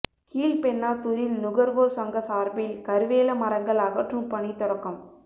கீழ்பென்னாத்தூரில் நுகர்வோர் சங்க சார்பில் கருவேல மரங்கள் அகற்றும் பணி தொடக்கம்